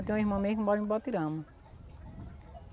Eu tenho uma irmã mesmo que mora em Botirama.